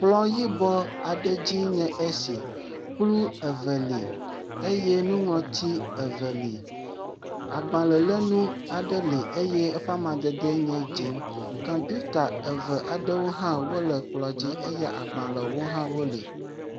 Kplɔ yibɔ adze nye esi. Kplɔ eve li, eye nuŋlɔti eve li. Agbalẽ le nuwo aɖe li eye eƒe amadede le dzɛ. Kɔmpita eve aɖewi hãa wo li eye agbalɖʋẽwo ha wo le.